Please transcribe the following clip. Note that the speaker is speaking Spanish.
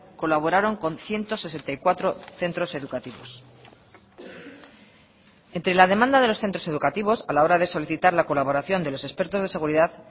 colaboraron con ciento sesenta y cuatro centros educativos entre la demanda de los centros educativos a la hora de solicitar la colaboración de los expertos de seguridad